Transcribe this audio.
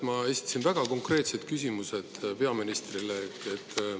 Ma esitasin väga konkreetsed küsimused peaministrile.